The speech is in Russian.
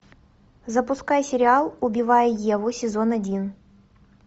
запускай сериал убивая еву сезон один